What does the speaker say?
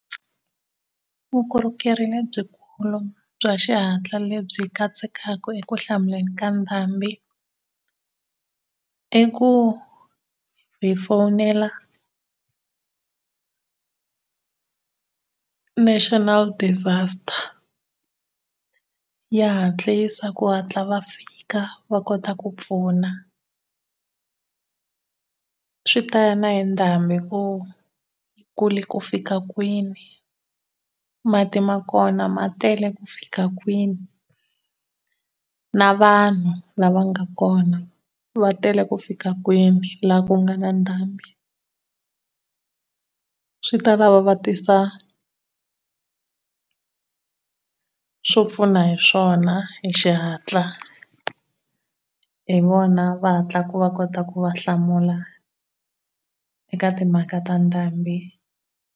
Vukorhokeri lebyikulu bya xihatla lebyi katsekaka ekuhlamuleni ka ndhambi i ku hi fonela national disaster, ya hatlisa ku hatla va fika va kota ku pfuna. Swi ta ya na hi ndhambi ku yi kule ku fika kwini, mati ma kona ma tele ku fika kwini, na vanhu lava nga kona va tele ku fika kwini la ku nga na ndhambi. Swi ta lava va tisa swo pfuna hi swona hi xihatla. Hi vona va hatlaka va kota ku va hlamula eka timhaka ta ndhambi.